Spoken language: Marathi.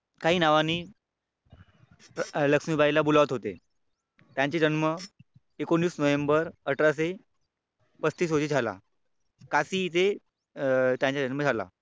काही नावानी लक्ष्मीबाईला बुलावत होते. त्यांची जन्म एकोणीस नोव्हेंबर अठराशे पस्तीस रोजी झाला. काशी इथे त्यांचा जन्म झाला.